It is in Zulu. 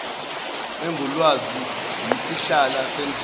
engulwazi iyisihlahla sendlela